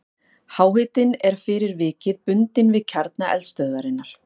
Háhitinn er fyrir vikið bundinn við kjarna eldstöðvarinnar.